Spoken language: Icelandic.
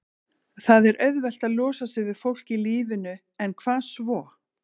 Það er auðvelt að losa sig við fólk í lífinu en hvað svo?